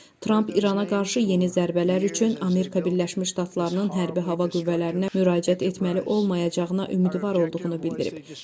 Tramp İrana qarşı yeni zərbələr üçün Amerika Birləşmiş Ştatlarının hərbi hava qüvvələrinə müraciət etməli olmayacağına ümidvar olduğunu bildirib.